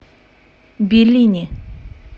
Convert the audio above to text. беллини